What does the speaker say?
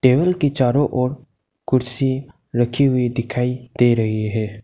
Table के चारों ओर कुर्सी रखी हुई दिखाई दे रही है।